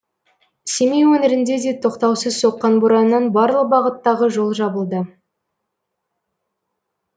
семей өңірінде де тоқтаусыз соққан бораннан барлық бағыттағы жол жабылды